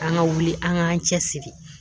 An ka wuli an ka cɛsiri